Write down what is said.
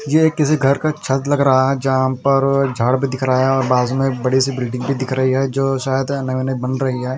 ये किसी घर का छत लग रहा है जहाँ पर झाड़ भी दिख रहा है और बाज़ू में बड़ी सी बिल्डिंग भी दिख रही है जो शायद ऐ न ऐ न बन रही है।